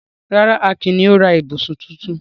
Rárá, Akin ni ó ra ibùsùn tuntun.